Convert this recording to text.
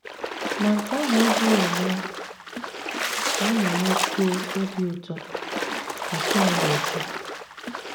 “ Ma nke ahụ adịghị eme ka anyị nwekwuo obi ụtọ, ” ka Time na - ekwu.